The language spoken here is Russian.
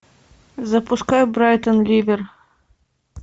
запускай брайтон ливер